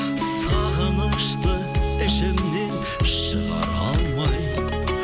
сағынышты ішімнен шығара алмай